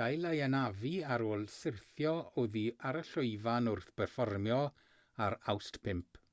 gael ei anafu ar ôl syrthio oddi ar y llwyfan wrth berfformio ar awst 5